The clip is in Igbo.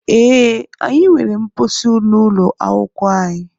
Ee, anyị nwere mposi n'ụlọ akwụkwọ anyị.